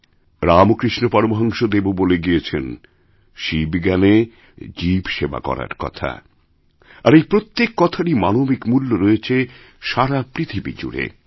রামকৃষ্ণ পরমহংসদেবও বলেগিয়েছেন শিব জ্ঞানে জীব সেবা করার কথা আর এই প্রত্যেক কথারই মানবিক মূল্য রয়েছেসারা পৃথিবী জুড়ে